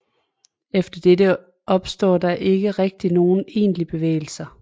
Efter dette opstår der ikke rigtig nogen egentlige bevægelser